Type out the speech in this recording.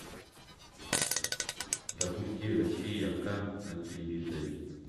запусти россия ка на телевизоре